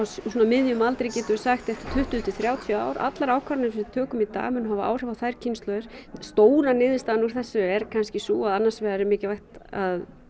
miðjum aldri getum við sagt eftir tuttugu til þrjátíu ár allar ákvarðanir sem við tökum í dag munu hafa áhrif á þær kynslóðir stóra niðurstaðan úr þessu er kannski sú að annars vegar er mikilvægt að